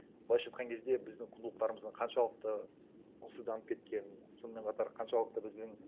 былайша айтқан кезде біздің құндылықтарымыздың қаншалықты құнсызданып кеткенін сонымен қатар қаншалықты біздің